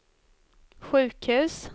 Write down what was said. sjukhus